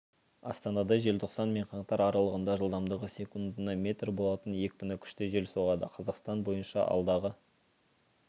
астанада желтоқсан мен қаңтар аралығында жылдамдығы секундына метр болатын екпіні күшті жел соғады қазақстан бойынша алдағы